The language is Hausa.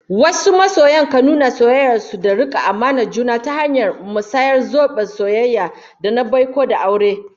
Wasu masoya kan nuna soyayyar su da rike amanar juna ta hanyar musayar zoben soyayya, da na baiko, da aure